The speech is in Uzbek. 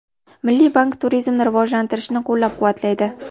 Milliy bank turizmni rivojlantirishni qo‘llab-quvvatlaydi.